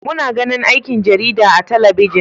Muna ganin aikin jarida a talabijin.